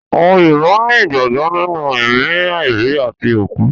Àwọn Yorùbá ni ìgbàgbọ́ nínú ẹ̀mí àìrí àti àkú